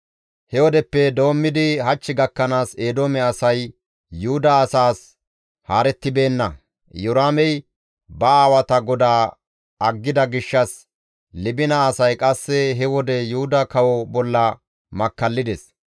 He wodeppe doommidi hach gakkanaas Eedoome asay Yuhuda asaas haarettibeenna. Iyoraamey ba aawata GODAA aggida gishshas Libina asay qasse he wode Yuhuda kawo bolla makkallides.